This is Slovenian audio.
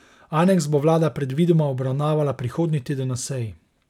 Aneks bo vlada predvidoma obravnavala prihodnji teden na seji.